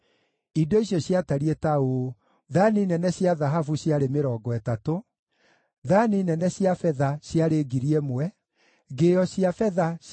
Indo icio ciatariĩ ta ũũ: thaani nene cia thahabu ciarĩ 30 thaani nene cia betha ciarĩ 1,000 ngĩo cia betha ciarĩ 29